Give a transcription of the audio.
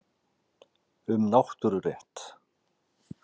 Um náttúrurétt.